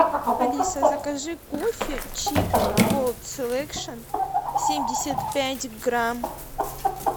алиса закажи кофе чибо голд селекшн семьдесят пять грамм